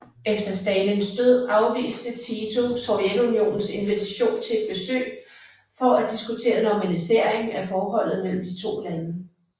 Efter Stalins død afviste Tito Sovjetunionens invitation til et besøg for at diskutere normalisering af forholdet mellem de to lande